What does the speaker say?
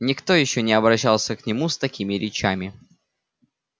никто ещё не обращался к нему с такими речами